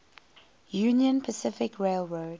union pacific railroad